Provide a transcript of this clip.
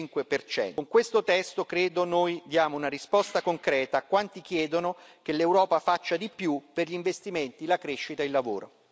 65 Con questo testo, credo, noi diamo una risposta concreta a quanti chiedono che l'Europa faccia di più per gli investimenti, la crescita e il lavoro.